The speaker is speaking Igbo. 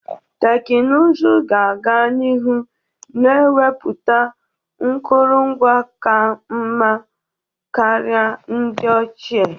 Teknụzụ ga-aga n'iru na enwepụta nkụrụngwa ka mma karịa ndị ochie.